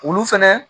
Olu fɛnɛ